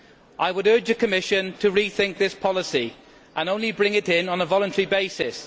I urge the Commission to rethink this policy and only bring it in on a voluntary basis.